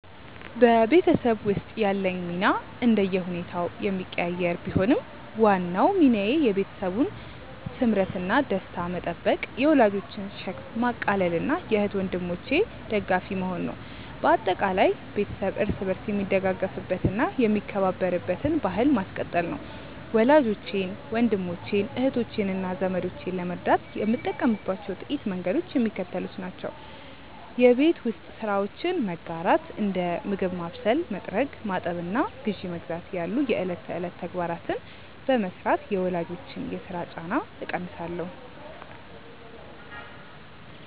በቤተሰብ ውስጥ ያለኝ ሚና እንደየሁኔታው የሚቀያየር ቢሆንም፣ ዋናው ሚናዬ የቤተሰቡን ስምረትና ደስታ መጠበቅ፣ የወላጆችን ሸክም ማቃለልና የእህት ወንድሞቼ ደጋፊ መሆን ነው። በአጠቃላይ፣ ቤተሰብ እርስ በርስ የሚደጋገፍበትና የሚከባበርበትን ባሕል ማስቀጠል ነው። ወላጆቼን፣ ወንድሞቼን፣ እህቶቼንና ዘመዶቼን ለመርዳት የምጠቀምባቸው ጥቂት መንገዶች የሚከተሉት ናቸው የቤት ውስጥ ስራዎችን መጋራት፦ እንደ ምግብ ማብሰል፣ መጥረግ፣ ማጠብና ግዢ መግዛት ያሉ የዕለት ተዕለት ተግባራትን በመሥራት የወላጆችን የሥራ ጫና እቀንሳለሁ